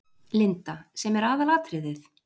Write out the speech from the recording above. Linda: Sem er aðalatriðið?